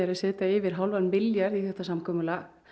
setja yfir hálfan milljarð í þetta samkomulag